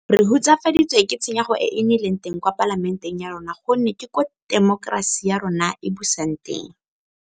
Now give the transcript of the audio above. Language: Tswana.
Re hutsafaditswe ke tshenyego e e nnileng teng kwa Palamenteng ya rona gonne ke koo temokerasi ya rona e busang teng.